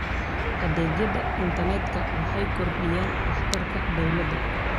Adeegyada internetka waxay kordhiyaan waxtarka dawladda.